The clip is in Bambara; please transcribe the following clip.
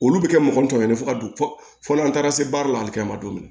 Olu bɛ kɛ mɔgɔ tɔmɛnen fɔ ka don fɔ n'an taara se baara la a bɛ kɛ ma don min